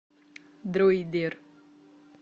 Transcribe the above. дройдер